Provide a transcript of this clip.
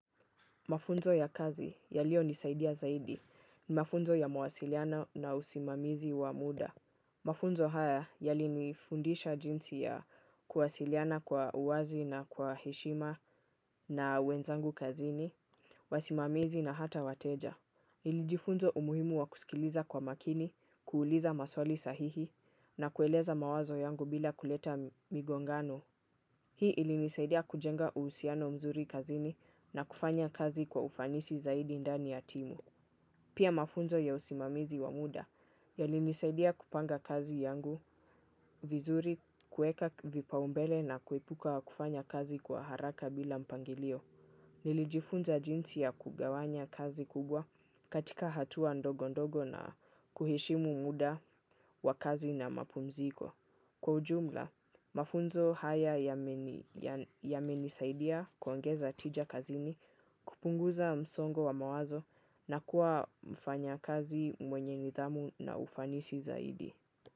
Mafunzo ya kazi yaliyonisaidia zaidi ni mafunzo ya mawasiliano na usimamizi wa muda mafunzo haya, yalinifundisha jinsi ya kuwasiliana kwa uwazi na kwa heshima na wenzangu kazini, wasimamizi na hata wateja. Nilijifunza umuhimu wa kusikiliza kwa makini, kuuliza maswali sahihi, na kueleza mawazo yangu bila kuleta migongano. Hii ilinisaidia kujenga uhusiano mzuri kazini na kufanya kazi kwa ufanisi zaidi ndani ya timu pia mafunzo ya usimamizi wa muda yailinisaidia kupanga kazi yangu vizuri kueka vipaumbele na kuepuka kufanya kazi kwa haraka bila mpangilio. Nilijifunza jinsi ya kugawanya kazi kubwa katika hatua ndogo ndogo na kuheshimu muda wa kazi na mapumziko. Kwa ujumla, mafunzo haya yamenisaidia kuongeza tija kazini kupunguza msongo wa mawazo na kuwa mfanyakazi mwenye nidhamu na ufanisi zaidi.